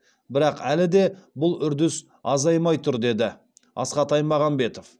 бірақ әлі де бұл үрдіс азаймай тұр деді асхат аймағамбетов